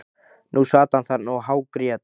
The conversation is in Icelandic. Nú sat hann þarna og hágrét.